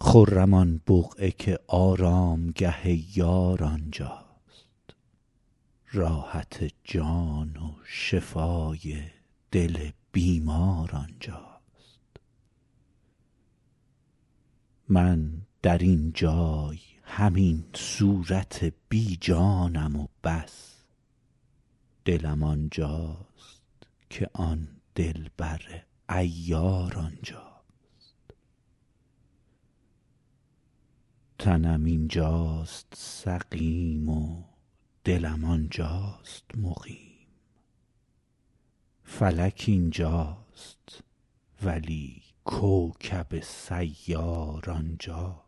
خرم آن بقعه که آرامگه یار آنجاست راحت جان و شفای دل بیمار آنجاست من در این جای همین صورت بی جانم و بس دلم آنجاست که آن دلبر عیار آنجاست تنم اینجاست سقیم و دلم آنجاست مقیم فلک اینجاست ولی کوکب سیار آنجاست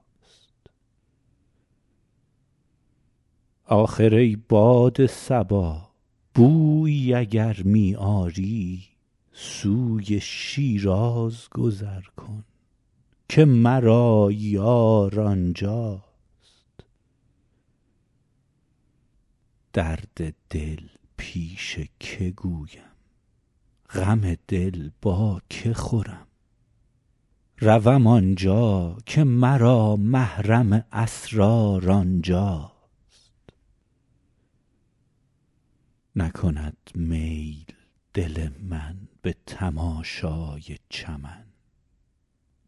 آخر ای باد صبا بویی اگر می آری سوی شیراز گذر کن که مرا یار آنجاست درد دل پیش که گویم غم دل با که خورم روم آنجا که مرا محرم اسرار آنجاست نکند میل دل من به تماشای چمن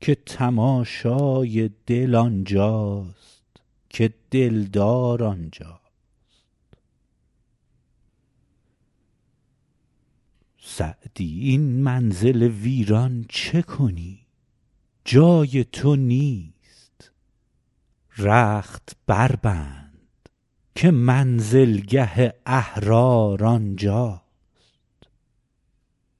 که تماشای دل آنجاست که دلدار آنجاست سعدی این منزل ویران چه کنی جای تو نیست رخت بربند که منزلگه احرار آنجاست